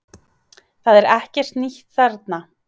Það er ekkert nýtt þarna